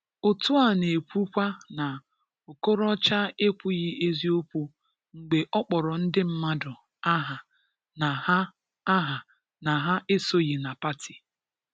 Otu a n'ekwu kwa na Okorocha ekwughị eziokwu mgbe ọkpọro ndị mmadụ aha na ha aha na ha esoghị na pati.